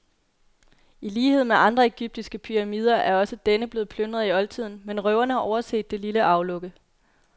I lighed med andre egyptiske pyramider er også denne blevet plyndret i oldtiden, men røverne har overset det lille aflukke.